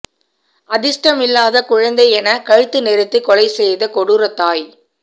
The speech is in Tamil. அதிஸ்டம் இல்லாத குழந்தை என கழுத்து நெறித்து கொலை செய்த கொடூர தாய்